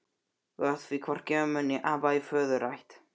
Þú átt því hvorki ömmu né afa í föðurætt.